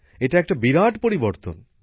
এটা একটা বিরাট পরিবর্তন